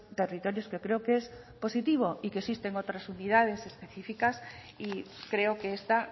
territorios que creo que es positivo y que existen otras unidades específicas y creo que esta